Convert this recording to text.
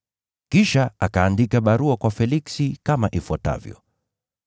Kisha akaandika barua kwa Feliksi kama ifuatavyo: